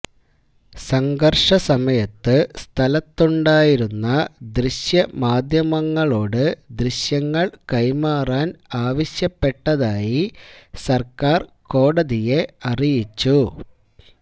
സംഘർഷ സമയത്ത് സ്ഥലത്തുണ്ടായിരുന്ന ദൃശ്യമാധ്യമങ്ങളോട് ദൃശ്യങ്ങൾ കൈമാറാൻ ആവശ്യപ്പെട്ടതായി സർക്കാർ കോടതിയെ അറിയിച്ചു